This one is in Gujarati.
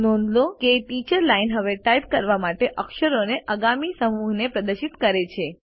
નોંધ લો કે ટીચર્સ લાઇન હવે ટાઇપ કરવા માટે અક્ષરોના આગામી સમૂહને પ્રદર્શિત કરે છે